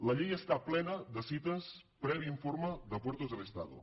la llei està plena de cites de previ informe de puertos del estado